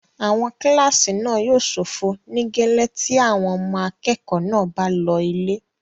Àwọn kílásì náà yóò ṣófo nígẹ́lẹ́ tí àwọn ọmọ akẹ́kọ̀ọ́ náà bá lọ ilé